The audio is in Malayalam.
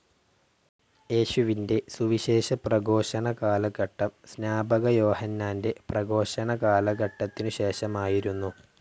യേശുവിൻ്റെ സുവിശേഷപ്രഘോഷണകാലഘട്ടം സ്നാപകയോഹന്നാൻ്റെ പ്രഘോഷണകാലഘട്ടത്തിനുശേഷമായിരുന്നു.